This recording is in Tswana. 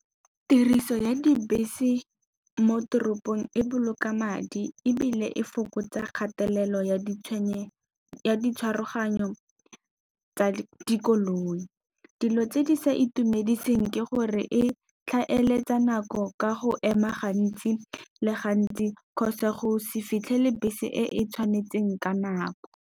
Tiriso ya dibese mo toropong e boloka madi ebile e fokotsa kgatelelo ya ditshwaraganyo tsa dikoloi. Dilo tse di sa itumediseng ke gore e tlhaeletsa nako ka go ema gantsi le gantsi, kgotsa go se fitlhele bese e e tshwanetseng ka nako.